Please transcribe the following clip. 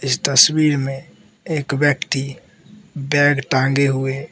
इस तस्वीर में एक व्यक्ति बैग टांगे हुए --